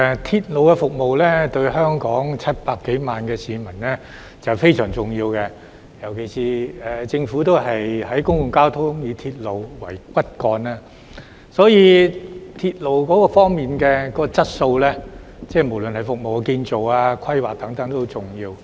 鐵路服務對香港700多萬名市民非常重要，尤其是政府的公共交通政策以鐵路為骨幹，所以鐵路的質素，無論是服務、建造和規劃等也很重要。